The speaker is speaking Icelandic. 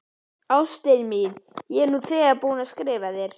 Ástin mín, ég er nú þegar búinn að skrifa þér.